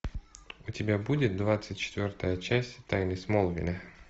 у тебя будет двадцать четвертая часть тайны смолвиля